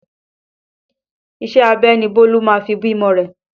Iṣẹ́ abẹ ni Bólú máa fi bímọ rẹ